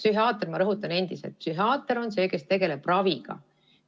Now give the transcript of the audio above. Ma rõhutan veel kord, et psühhiaater on see, kes tegeleb raviga.